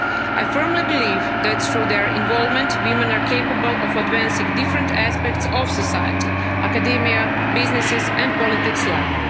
homes. I firmly believe that through their involvement, women are capable of advancing different aspects of society, academia, businesses and politics